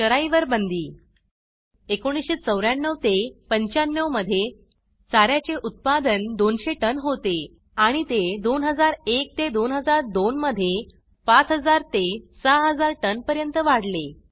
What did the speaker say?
चराई वर बंदी 1994 95 मध्ये चाऱ्याचे उत्पादन 200 टन होते आणि ते 2001 2002 मध्ये 5000 6000 टन पर्यंत वाढले